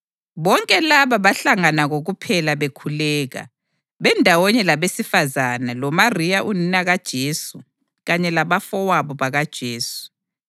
Bonke laba bahlangana kokuphela bekhuleka, bendawonye labesifazane loMariya unina kaJesu kanye labafowabo bakaJesu.